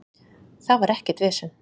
Það var ekkert vesen